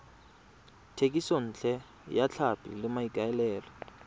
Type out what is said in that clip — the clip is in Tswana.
thekisontle ya tlhapi ka maikaelelo